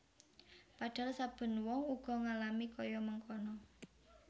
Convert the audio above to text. Padhahal saben wong uga ngalami kaya mangkono